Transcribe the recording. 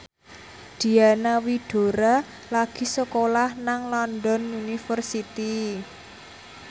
Diana Widoera lagi sekolah nang London University